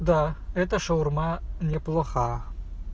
да это шаурма неплоха